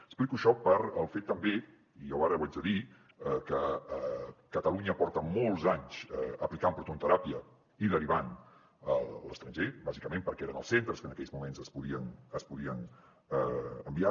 explico això pel fet també i jo ara ho haig de dir que catalunya porta molts anys aplicant prototeràpia i derivant a l’estranger bàsicament perquè eren els centres als que en aquells moments es podien enviar